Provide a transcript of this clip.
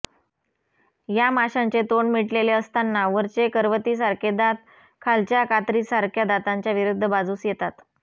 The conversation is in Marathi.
या माशांचे तोंड मिटलेले असताना वरचे करवतीसारखे दात खालच्या कातरीसारख्या दातांच्या विरुध्द बाजूस येतात